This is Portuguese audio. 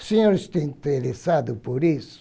Os senhores estão interessados por isso?